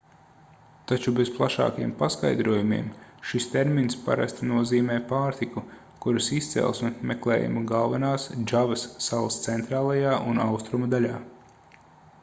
taču bez plašākiem paskaidrojumiem šis termins parasti nozīmē pārtiku kuras izcelsme meklējama galvenās džavas salas centrālajā un austrumu daļā